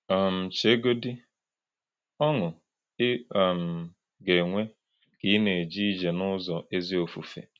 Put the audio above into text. um Chegodị ọṅụ ị um ga-enwe ka ị na-eje ije n’ụzọ ezi ofufe!